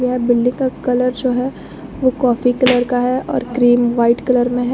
यह बिल्डिंग का कलर जो है वो कॉफी कलर का है और क्रीम वाइट कलर में है।